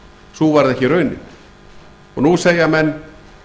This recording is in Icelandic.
sú varð ekki raunin nú segja menn